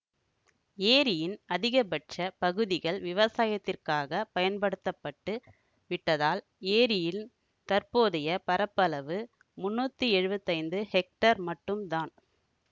ஏரியின் அதிகபட்ச பகுதிகள் விவசாயத்திற்காகப் பயன்படுத்த பட்டு விட்டதால் ஏரியின் தற்போதைய பரப்பளவு முன்னூத்தி எழுவத்தி ஐந்து ஹெக்டேர் மட்டும் தான்